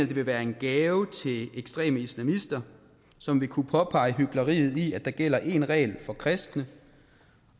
det ville være en gave til ekstreme islamister som ville kunne påpege hykleriet i at der gælder én regel for kristne